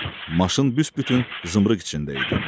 Maşın büsbütün zımrığ içində idi.